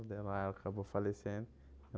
Daí lá ela acabou falecendo.